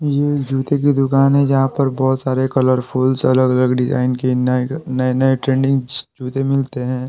ये जूते की दुकान है जहां पर बहुत सारे कलरफुल्स अलग-अलग डिजाइन के नए नए-नए ट्रेंडिंग जूते मिलते हैं।